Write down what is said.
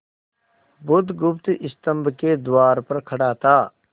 बुधगुप्त स्तंभ के द्वार पर खड़ा था